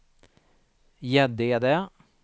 Gäddede